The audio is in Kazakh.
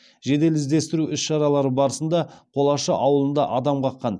жедел іздестіру іс шаралары барысында қолашы ауылында адам қаққан